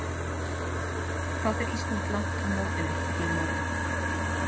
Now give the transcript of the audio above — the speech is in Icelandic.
Hvað fer Ísland langt á mótinu að þínu mati?